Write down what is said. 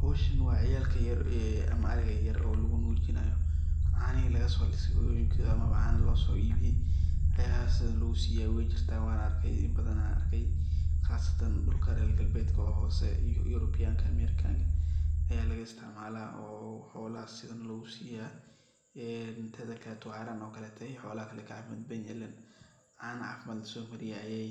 Howshan waa ciyalka yar ama ariga yar oo lagu nujinaya canihi laga so lisay hooyoyinkoda amaba cana loso ibiye ayaa sidan lagusiya weyjirta wan arkey in badana arkay qasatan dhulka rer galbedka oo hose Yurubianka, Amerikanka ayaa laga isticmala oo xolaha sidhan lagu siyaa een teda kaleto wax yalahan o kaleto xoolaha kale yey kacafimad badan yihin ileen cana cafimad laso mariyey ayey